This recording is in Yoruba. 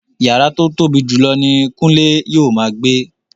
Yàrá tó tóbi jùlọ ni Kunle yóò máa gbé